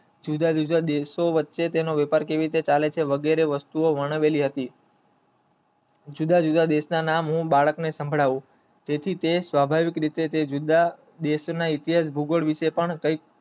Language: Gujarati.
જુદા જુદા દેશો વચ્ચે પણ વેપાર કેવી રીતે ચાલે છે જુદા જુદા દેશ ના નામ બાળકોને સંભળાય જે થી તે સ્વાભાવિક રીતે દેશ ના ઇતિહાસ ભુગર્ભ